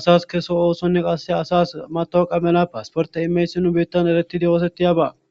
asas keso oosonne qasse asas mato qamela paasporte imeysi nu biittan eretidi oosettiyaba.